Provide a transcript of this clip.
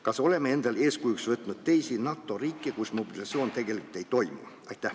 Kas oleme eeskujuks võtnud teisi NATO riike, kus mobilisatsioon tegelikult ei toimi?